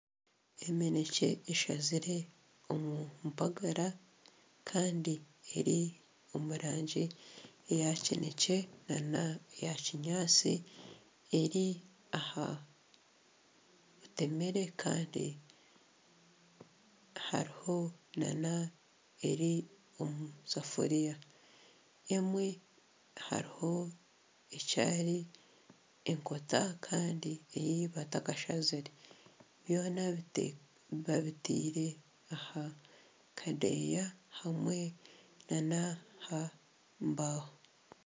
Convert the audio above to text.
Eminekye eshazire omu mpagara kandi eri omu rangi eya kinekye neya kinyaatsi eri aha bitemeere kandi hariho n'eri omu safuriya emwe hariho ekiri ekoota kandi ei batakashazire byona babitire aha kadeeya hamwe n'aha mbaho.